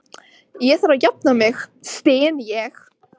Ég þarf að jafna mig, styn ég.